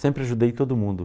Sempre ajudei todo mundo.